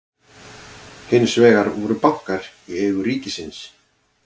hins vegar voru bankar í eigu ríkisins